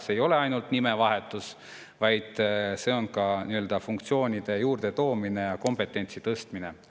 See ei ole ainult nimevahetus, vaid see on ka funktsioonide juurdetoomine ja kompetentsi tõstmine.